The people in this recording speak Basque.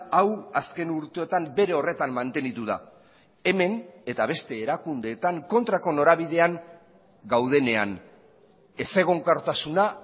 hau azken urteotan bere horretan mantendu da hemen eta beste erakundeetan kontrako norabidean gaudenean ezegonkortasuna